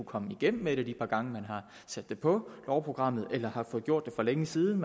komme igennem med det de par gange man har sat det på lovprogrammet eller har fået gjort det for længe siden